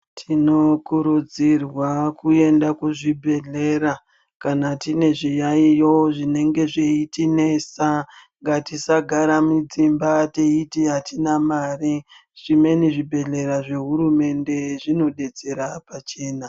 Tinokurudzirwa kuenda kuzvibhedhlera, kana tine zviyaiyo zvinenge zveitinesa. Ngatisagara mudzimba teiti atina mare. Zvimweni zvibhedhlera zvehurumende zvinodetsera pachena.